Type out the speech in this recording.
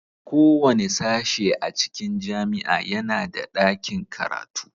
Kowane sashe a cikin jami'a yana da ɗakin karatu